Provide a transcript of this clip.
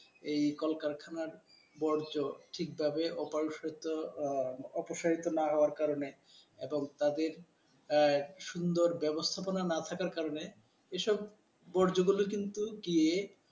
এই কলকারখানার বজ্র ঠিকভাবে অপসারিত আহ অপসারিত না হওয়ার কারণে এবং তাদের আহ সুন্দর ব্যবস্থাপনা না থাকার কারণে এসব বজ্র হলে কিন্তু গিয়ে,